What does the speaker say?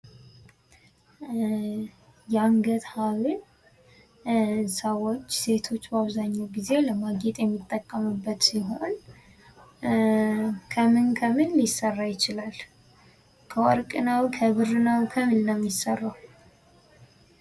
የአንገት ሀብል ሰዎች ሴቶች በአብዛኛው ጊዜ ለማጌጥ የሚጠቀሙበት ሲሆን ከምን ከምን ሊሰራ ይችላል? ከወርቅ ወይስ ከብር?